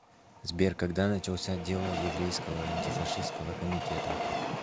сбер когда начался дело еврейского антифашистского комитета